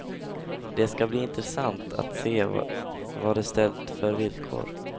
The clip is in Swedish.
Det ska bli intressant att se vad de ställt för villkor.